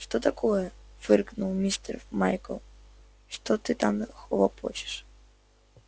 что такое фыркнул мистер майкл что ты там хлопочешь